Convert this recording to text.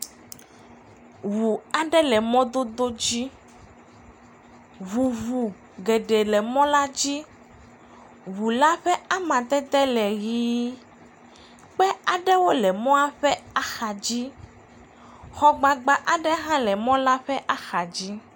Ŋu aɖe le mɔdodo dzi, ŋuŋu geɖe le mɔdodo, ŋu la ƒe amadede le ʋɛ̃, kpe aɖewo hã le mɔa ƒe axadzi, xɔgbagba aɖe hã le mɔ la ƒe axadzi.